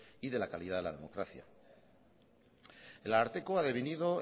y de la calidad de la democracia el ararteko ha devenido